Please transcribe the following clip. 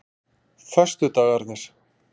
föstudagarnir